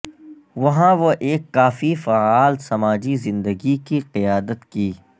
وہاں وہ ایک کافی فعال سماجی زندگی کی قیادت کی